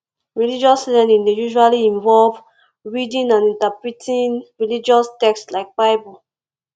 religious learning dey usually involve reading and interpreting religious text like bible